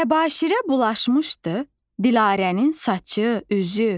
Təbaşirə bulaşmışdı Dilarənin saçı, üzü.